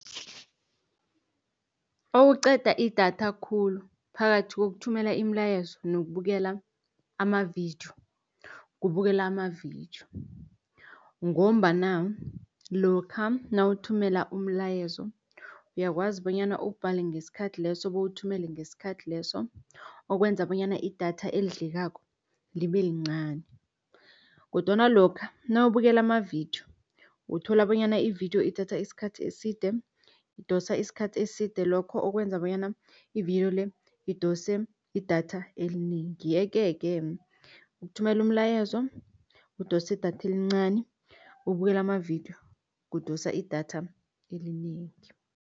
Okuqeda idatha khulu phakathi kokuthumela imilayezo nokubukela amavidiyo, kubukela amavidiyo. Ngombana lokha nawuthumela umlayezo, uyakwazi bonyana uwubhale ngesikhathi leso bowuwuthumele ngesikhathi leso, okwenza bonyana idatha elidlekako libe lincani. Kodwana lokha nawubukela amavidiyo uthola bonyana ividiyo ithatha isikhathi eside, idosa isikhathi eside, lokho okwenza bonyana ividiyo le idose idatha elinengi. Yeke-ke ukuthumela umlayezo kudosa idatha elincani, ukubukela amavidiyo kudosa idatha elinengi.